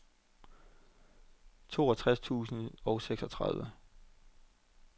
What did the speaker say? toogtres tusind og seksogtredive